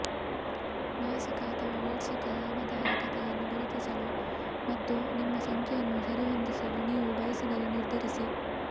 ಮಾಸಿಕ ಅಥವಾ ವಾರ್ಷಿಕ ಲಾಭದಾಯಕತೆಯನ್ನು ಗುರುತಿಸಲು ಮತ್ತು ನಿಮ್ಮ ಸಂಖ್ಯೆಯನ್ನು ಸರಿಹೊಂದಿಸಲು ನೀವು ಬಯಸಿದರೆ ನಿರ್ಧರಿಸಿ